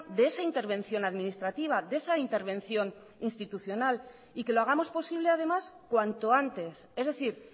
de esa intervención administrativa de esa intervención institucional y que lo hagamos posible además cuanto antes es decir